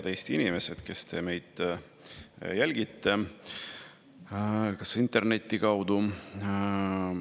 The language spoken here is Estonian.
Head Eesti inimesed, kes te meid jälgite interneti kaudu?